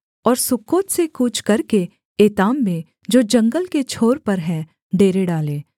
और सुक्कोत से कूच करके एताम में जो जंगल के छोर पर है डेरे डाले